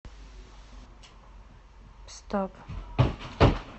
стоп